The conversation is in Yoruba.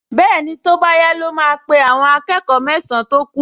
Bẹ́ẹ̀ni, tó bá yá ló máa pe àwọn akẹ́kọ̀ọ mẹ́san-án tó kù